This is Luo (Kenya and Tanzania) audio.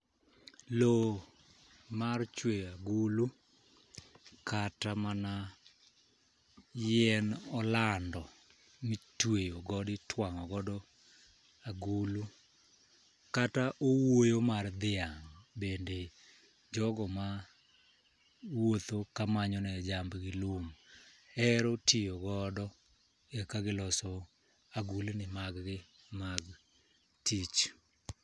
Lowo mar chweyo agulu kata mana yien olando mitweyo godo itwang'o godo agulu kata owuoyo mar dhiang' . Bende jogo ma wuotho ka manyo ne jamb gi lum hero tiyo godo e ka giloso agulni mag gi mag tich.